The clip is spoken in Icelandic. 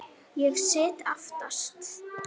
Ég sit aftast.